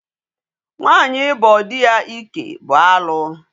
Nwaanyị ịbọ dị ya ike bụ alụ.